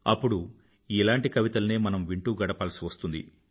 అప్పుడు ఇలాంటి కవితల్నే మనం వింటూ గడపాల్సి వస్తుంది